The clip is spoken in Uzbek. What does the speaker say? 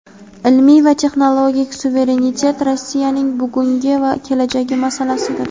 ilmiy va texnologik suverenitet Rossiyaning buguni va kelajagi masalasidir.